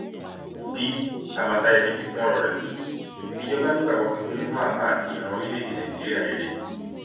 b amasáyémi fi kún ọrọ rẹ pé ìjọba nígbàgbọ kíkún nínú àlá àti ìran orílẹèdè nàíjíríà rere